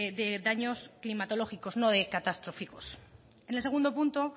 de daños climatológicos no de catastróficos en el segundo punto